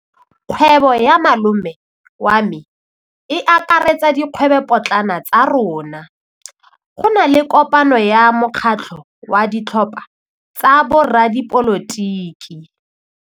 Kgwêbô ya malome wa me e akaretsa dikgwêbôpotlana tsa rona. Go na le kopanô ya mokgatlhô wa ditlhopha tsa boradipolotiki.